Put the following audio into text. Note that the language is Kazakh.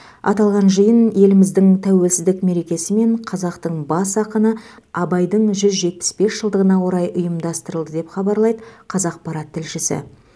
аталған жиын еліміздің тәуелсіздік мерекесі мен қазақтың бас ақыны абайдың жүз жетпіс бес жылдығына орай ұйымдастырылды деп хабарлайды қазақпарат тілшісі